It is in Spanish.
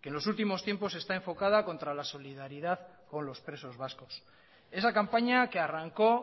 que en los últimos tiempos está enfocada contra la solidaridad con los presos vascos esa campaña que arrancó